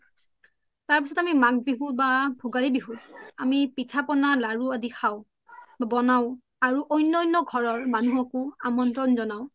তাৰ্পিছ্ত আমি মাঘ বিহু বা ভুগালি বিহু আমি পিথা পনা লাৰু আদি খাও বনাও আৰু অন্য অন্য ঘৰৰ মানুহকও আমন্ত্ৰন জনাও